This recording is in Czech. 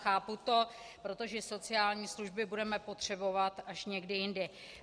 Chápu to, protože sociální služby budeme potřebovat až někdy jindy.